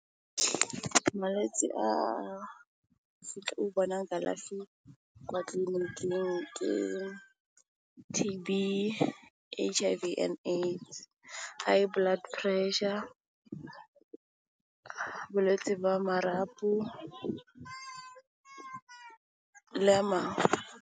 Malwetsi a fitlhe o bona kalafi kwa tlliniking ke T_B, H_I_V and AIDS, high blood pressure, bolwetse ba marapo le amang.